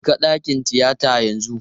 Jeka dakin tiyata yanzu!